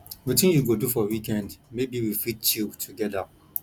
wetin you go do for weekend maybe we fit chill together